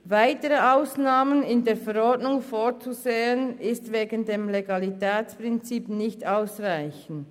Weitere Ausnahmen in der Verordnung vorzusehen, ist wegen des Legalitätsprinzips nicht ausreichend.